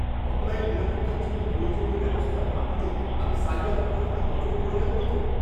Online নিরাপত্তার জন্য প্রয়োজনীয় ব্যবস্থা না নিলে আমি সাইবার অপরাধীদের নজরে পড়ে যাবো না তো!